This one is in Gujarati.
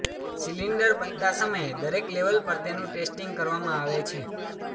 સિલિન્ડર બનતા સમયે દરેક લેવલ પર તેનું ટેસ્ટિંગ કરવામાં આવે છે